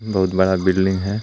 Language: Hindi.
बहुत बड़ा बिल्डिंग है.